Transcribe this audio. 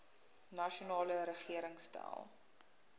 nasionale regering stel